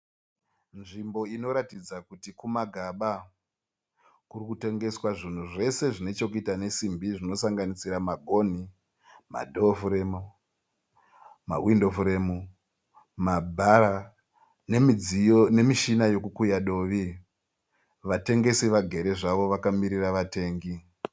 Nzvimbo inoratidza kuti kumagaba kuri kutengseswa zvinhu zvese zvine chekuita nesimbi zvinosanganisira magonhi, ma dho furemu, ma windo furemu, ma bhara nemichina yekukuya dovi vatengesi vagere zvavo vakamirira vatengi.